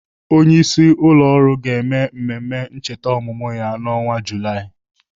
Onyeisi ụlọ ọrụ ga-eme mmemme ncheta ọmụmụ ya n'ọnwa Julaị.